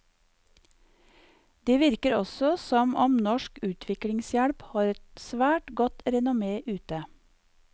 Det virker også som om norsk utviklingshjelp har et svært godt renomme ute.